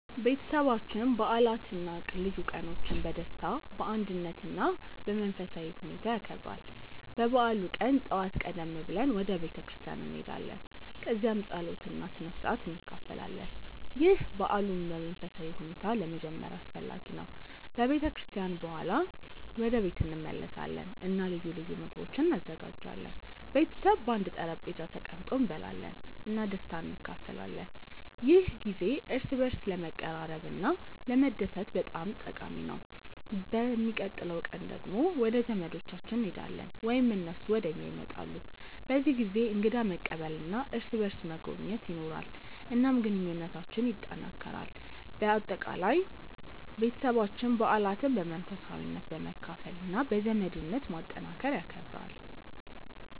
ቤተሰባችን በዓላትን እና ልዩ ቀኖችን በደስታ፣ በአንድነት እና በመንፈሳዊ ሁኔታ ያከብራል። በበዓሉ ቀን ጠዋት ቀደም ብለን ወደ ቤተ ክርስቲያን እንሄዳለን፣ እዚያም ጸሎት እና ስነ-ሥርዓት እንካፈላለን። ይህ በዓሉን በመንፈሳዊ ሁኔታ ለመጀመር አስፈላጊ ነው። ከቤተ ክርስቲያን በኋላ ወደ ቤት እንመለሳለን እና ልዩ ልዩ ምግቦች እንዘጋጃለን። ቤተሰብ በአንድ ጠረጴዛ ተቀምጦ እንበላለን እና ደስታን እንካፈላለን። ይህ ጊዜ እርስ በርስ ለመቀራረብ እና ለመደሰት በጣም ጠቃሚ ነው። በሚቀጥለው ቀን ደግሞ ወደ ዘመዶቻችን እንሄዳለን ወይም እነሱ ወደ እኛ ይመጣሉ። በዚህ ጊዜ እንግዳ መቀበል እና እርስ በርስ መጎብኘት ይኖራል፣ እናም ግንኙነታችንን ያጠናክራል። በአጠቃላይ፣ ቤተሰባችን በዓላትን በመንፈሳዊነት፣ በመካፈል እና በዘመድነት ማጠናከር ይከብራል።